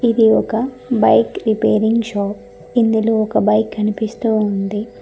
ఇది ఒక bike repairing shop ఇందులో ఒక బైక్ కనిపిస్తూ ఉంది.